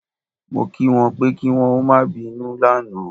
Mo kí wọn pé kí wọn ó má bínú lánàá